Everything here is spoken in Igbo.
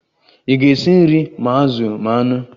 Ị ga-esi nri ma azụ ma anụ?